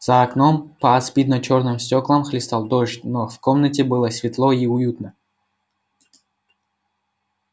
за окном по аспидно-чёрным стёклам хлестал дождь но в комнате было светло и уютно